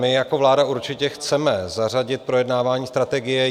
My jako vláda určitě chceme zařadit projednávání strategie.